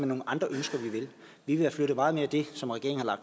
nogle andre ønsker vi vil have flyttet meget mere af det som regeringen har